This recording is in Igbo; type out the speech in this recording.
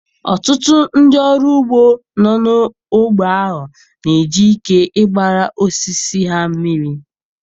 Ọtụtụ ndị ọrụ ugbo nọ n'ógbè ahụ na-eji ike ịgbara osisi ha mmiri.